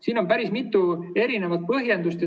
Siin on päris mitu põhjendust.